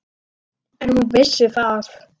En hún vissi það.